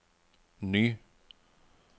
ny